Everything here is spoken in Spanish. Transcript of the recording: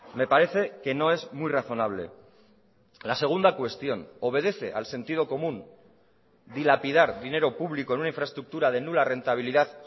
me parece que no es muy razonable la segunda cuestión obedece al sentido común dilapidar dinero público en una infraestructura de nula rentabilidad